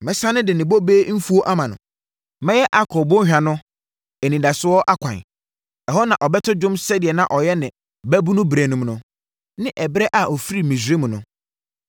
Mɛsane de ne bobe mfuo ama no. Mɛyɛ Akɔr bɔnhwa no, anidasoɔ ɛkwan. Ɛhɔ na ɔbɛto dwom sɛdeɛ na ɔyɛ ne mmabunu berɛ mu no ne ɛberɛ a ɔfirii Misraim no.